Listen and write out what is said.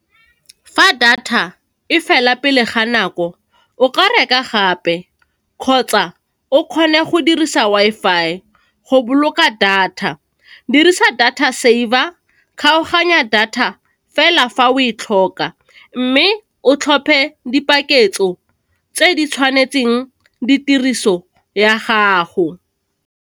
Fa data e fela pele ga nako, o ka reka gape kgotsa o kgone go dirisa Wi-Fi go boloka data. Dirisa data saver, kgaoganya data fela fa o e tlhoka, mme o tlhophe dipaketso tse di tshwanetseng di tiriso ya gago.